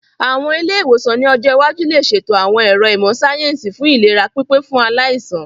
Àwọn ilé-ìwòsàn ní ọjọ́ iwájú lè ṣètò àwọn ẹ̀ro ìmọ̀ síáyẹ́nsì fún ìlera pípé fún aláìsàn